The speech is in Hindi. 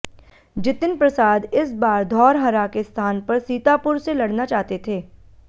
जितिन प्रसाद इस बार धौरहरा के स्थान पर सीतापुर से लडना चाहते थे